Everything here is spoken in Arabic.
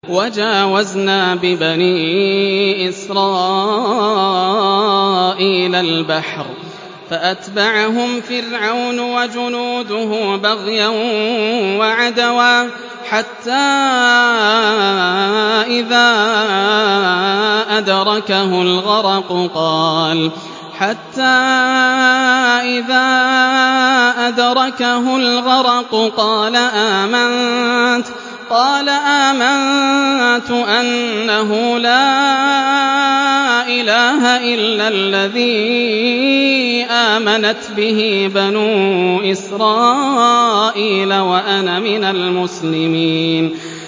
۞ وَجَاوَزْنَا بِبَنِي إِسْرَائِيلَ الْبَحْرَ فَأَتْبَعَهُمْ فِرْعَوْنُ وَجُنُودُهُ بَغْيًا وَعَدْوًا ۖ حَتَّىٰ إِذَا أَدْرَكَهُ الْغَرَقُ قَالَ آمَنتُ أَنَّهُ لَا إِلَٰهَ إِلَّا الَّذِي آمَنَتْ بِهِ بَنُو إِسْرَائِيلَ وَأَنَا مِنَ الْمُسْلِمِينَ